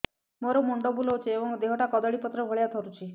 ମୋର ମୁଣ୍ଡ ବୁଲାଉଛି ଏବଂ ଦେହଟା କଦଳୀପତ୍ର ଭଳିଆ ଥରୁଛି